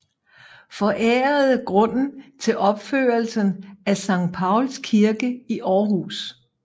Forærede grunden til opførelsen af Sankt Pauls Kirke i Aarhus